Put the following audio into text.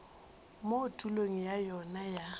mo tulong ya yona ya